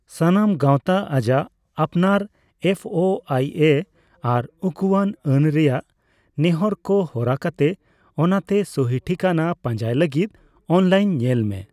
ᱥᱟᱱᱟᱢ ᱜᱟᱣᱛᱟ ᱟᱡᱟᱜ ᱟᱯᱱᱟᱨ ᱮᱯᱷᱹᱳᱹᱟᱭᱹᱮ ᱟᱨ ᱩᱠᱩᱣᱟᱱ ᱟᱹᱱ ᱨᱮᱭᱟᱜ ᱱᱮᱦᱚᱨ ᱠᱚ ᱦᱚᱨᱟ ᱠᱟᱛᱮ, ᱚᱱᱟᱛᱮ ᱥᱩᱦᱤ ᱴᱷᱤᱠᱟᱹᱱᱟ ᱯᱟᱸᱡᱟᱭ ᱞᱟᱜᱤᱫ ᱚᱱᱞᱟᱭᱤᱱ ᱧᱮᱞ ᱢᱮ ᱾